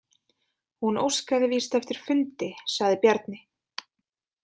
Hún óskaði víst eftir fundi, sagði Bjarni.